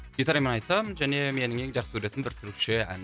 гитарамен айтам және менің ең жақсы көретін бір түрікше ән